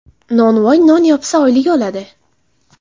Nonvoy non yopsa, oylik oladi.